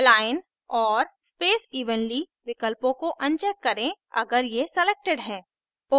align और space evenly विलकपों को अनचेक करें अगर ये selected हैं